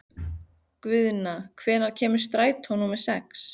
Guðna, hvenær kemur strætó númer sex?